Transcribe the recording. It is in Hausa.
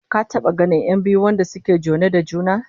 Ka taba ganin 'yan biyu wanda suke jone da juna?